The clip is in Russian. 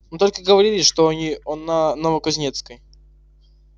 но только говорили что они на новокузнецкой